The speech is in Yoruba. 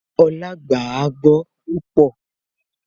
Olá gbàágbọ́ púpọ̀